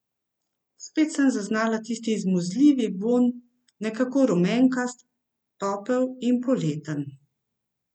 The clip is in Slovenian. Spet sem zaznala tisti izmuzljivi vonj, nekako rumenkast, topel in poleten.